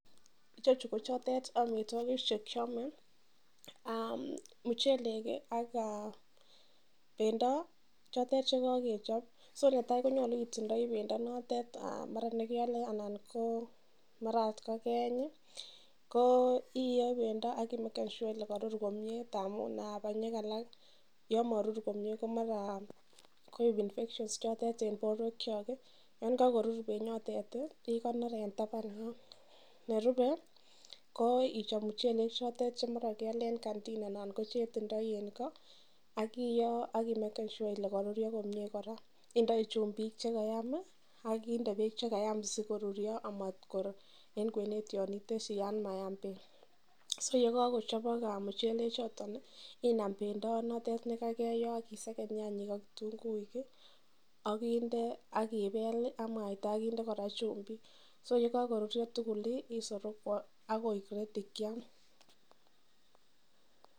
Ichochu ko chutet amitwagik chekiame mochelek ak bendo chotet chekakechop AK netai koyache itinye bendo mara nekeyole anan mara okot kokeyeny koiyoe bendo akimeken Cs sure Cs Kole Karur komie amun banyek alak yamarur komie ko mara koibbcs infection Cs choton en borwek Chok AK yegakorur bendo ikonor en taban yoton nerube ko ichop muchelek choton keyole en kantin anan kochetindoi en ko AK iyoo akimeken Cs sure Cs Kole karurio komie koraa indoit chumbik chekayam akinde bek chekayam sikorurio anan kot en kwenet iteshi bek yamayam bek ak yikakoturio anan kochabak muchelek chuton Inam bebdo notonnkokeyoob akiseken nyanyik AK kitunguik akinde akibel AK mwaita AK chumbik AK yikakoturio tugul isereku AK kiam